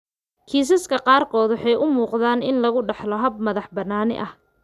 Kiisaska qaarkood waxay u muuqdaan in lagu dhaxlo hab madax-bannaani ah.